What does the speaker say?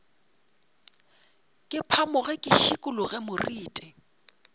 ke phamoge ke šikologe moriti